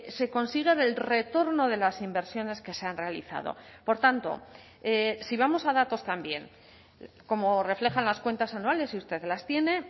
se consigue del retorno de las inversiones que se han realizado por tanto si vamos a datos también como reflejan las cuentas anuales y usted las tiene